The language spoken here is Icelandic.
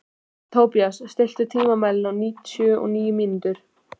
Tobías, stilltu tímamælinn á níutíu og níu mínútur.